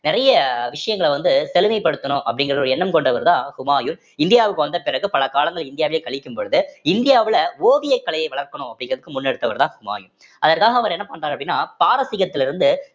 நிறைய விஷயங்கள வந்து தெளிவு படுத்தணும் அப்படிங்கிற ஒரு எண்ணம் கொண்டவர்தான் ஹுமாயூன் இந்தியாவுக்கு வந்த பிறகு பல காலங்கள் இந்தியாவிலேயே கழிக்கும் பொழுது இந்தியாவுல ஓவியக் கலையை வளர்க்கணும் அப்படிங்கிறதுக்கு முன்னெடுத்தவர்தான் ஹுமாயூன் அதற்காக அவர் என்ன பண்றார் அப்படின்னா பாரசீகத்துல இருந்து